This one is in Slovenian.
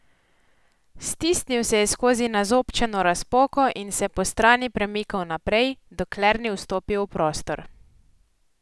Stisnil se je skozi nazobčano razpoko in se postrani premikal naprej, dokler ni vstopil v prostor.